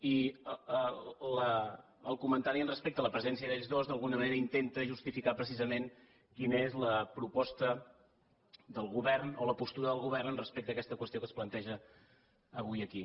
i el comentari respecte a la presència d’ells dos d’alguna manera intenta justificar precisament quina és la proposta del govern o la postura del govern respecte a aquesta qüestió que es planteja avui aquí